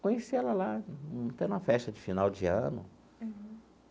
Conheci ela lá num teve uma festa de final de ano.